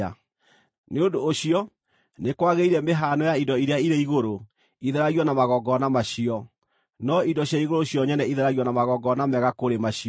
Nĩ ũndũ ũcio, nĩ kwagĩrĩire mĩhaano ya indo iria irĩ igũrũ ĩtheragio na magongona macio, no indo cia igũrũ cio nyene itheragio na magongona mega kũrĩ macio.